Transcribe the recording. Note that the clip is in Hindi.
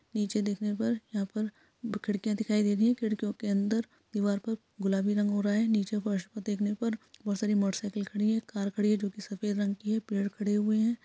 नीचे देखने में पर यहाँ पर खिड़कियाँ दिखाई दे रही हैं खिड़कियों के अंदर दीवार पर गुलाबी रंग हो रहा अच्छा नीचे फर्श पर देखने पर में बहुत सारी मोटरसाइकिल खड़ी हैं एक कार खडी है जोकि सफेद रंग की हैं पेड़ खड़े हुए हैं।